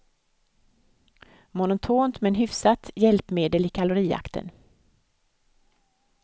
Monotont men hyfsat hjälpmedel i kalorijakten.